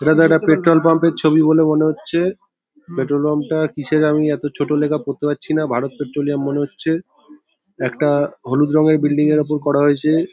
এটা দাদা petrol pump -এর ছবি বলে মনে হচ্ছে-এ । পেট্রোল পাম্প -টা কিসের আমি এতো ছোট লেখা পড়তে পারছিনা ভারত পেট্রোলিয়াম মনে হচ্ছে। একটা হলুদ রঙের বিল্ডিং -এর ওপর করা হয়েছে-এ ।